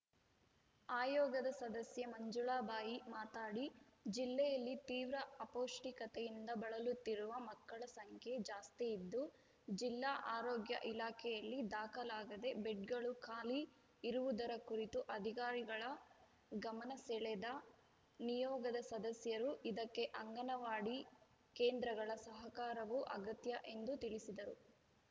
ಆಯೋಗದ ಸದಸ್ಯೆ ಮಂಜುಳಬಾಯಿ ಮಾತಾಡಿ ಜಿಲ್ಲೆಯಲ್ಲಿ ತೀವ್ರ ಅಪೌಷ್ಠಿಕತೆಯಿಂದ ಬಳಲುತ್ತಿರುವ ಮಕ್ಕಳ ಸಂಖ್ಯೆ ಜಾಸ್ತಿಯಿದ್ದು ಜಿಲ್ಲಾ ಆರೋಗ್ಯ ಇಲಾಖೆಯಲ್ಲಿ ದಾಖಲಾಗದೆ ಬೆಡ್‌ಗಳು ಖಾಲಿ ಇರುವುದರ ಕುರಿತು ಅಧಿಕಾರಿಗಳ ಗಮನ ಸೆಳೆದ ನಿಯೋಗದ ಸದಸ್ಯರು ಇದಕ್ಕೆ ಅಂಗನವಾಡಿ ಕೇಂದ್ರಗಳ ಸಹಕಾರವು ಅಗತ್ಯ ಎಂದು ತಿಳಿಸಿದರು